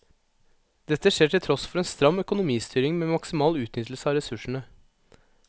Dette skjer til tross for en stram økonomistyring med maksimal utnyttelse av ressursene.